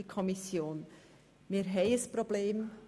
Wir haben ein Problem.